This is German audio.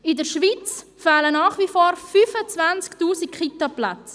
In der Schweiz fehlen nach wie vor 25 000 KitaPlätze.